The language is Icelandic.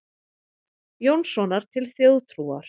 Jónssonar til þjóðtrúar.